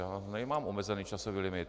Já nemám omezený časový limit.